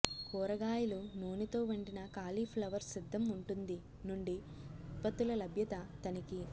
కూరగాయలు నూనెతో వండిన కాలీఫ్లవర్ సిద్ధం ఉంటుంది నుండి ఉత్పత్తుల లభ్యత తనిఖీ